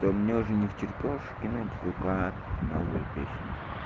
то мне уже невтерпёж кинуть вк новую песенку